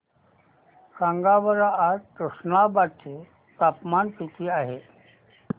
सांगा बरं आज तुष्णाबाद चे तापमान किती आहे